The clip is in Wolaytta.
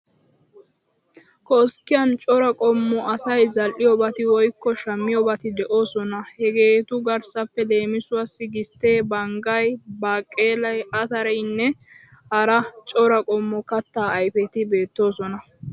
Koskkiyan cora qommo asay zal'iyoobati woyikko shammiyobati de'oosona. Hegeetu garssappe leemisuwawu gisttee, baniggay, baaqeelay, atarayinne hara cora qommo kattaa ayifeti beettoosona.